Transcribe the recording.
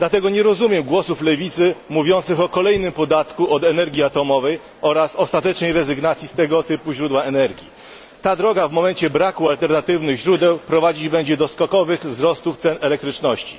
Dlatego nie rozumiem głosów lewicy mówiących o kolejnym podatku od energii atomowej oraz ostatecznej rezygnacji z tego typu źródła energii. Ta droga w momencie braku alternatywnych źródeł prowadzić będzie do skokowych wzrostów cen elektryczności.